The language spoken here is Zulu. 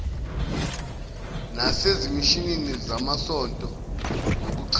nasezimishini zamasonto nokuchaza